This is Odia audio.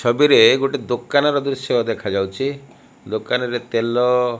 ଛବିରେ ଗୋଟେ ଦୋକାନର ଦୃଶ୍ୟ ଦେଖାଯାଉଛି। ଦୋକାନରେ ତେଲ --